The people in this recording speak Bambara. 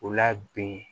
O la bi